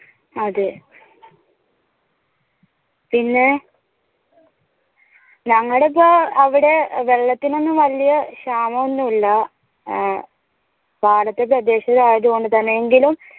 അതെ പിന്നെ ഞങ്ങടെ ഒക്കെ അവിടെ വെള്ളത്തിനു ഒന്നും വലിയ ക്ഷാമം ഒന്നും ഇല്ല ഏർ പാടത്തെ പ്രദേശം ആയതു കൊണ്ട് തന്നെ എങ്കിലും